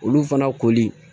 Olu fana koli